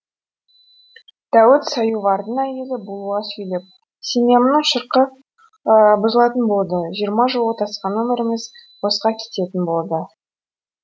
дәуіт соювардың әйелі булыға сөйлеп семьямның шырқы бұзылатын болды жиырма жыл отасқан өміріміз босқа кететін болды